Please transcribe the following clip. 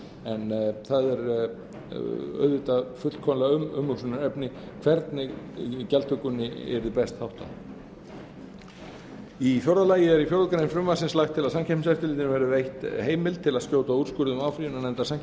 en það er auðvitað fullkomlega umhugsunarefni hvernig gjaldtökunni yrði best háttað í fjórða lagi er í fjórða grein frumvarpsins lagt til að samkeppniseftirlitinu verði veitt heimild til að skjóta úrskurðum áfrýjunarnefndar